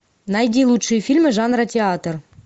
найди лучшие фильмы жанра театр